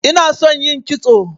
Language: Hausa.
inason yin kitso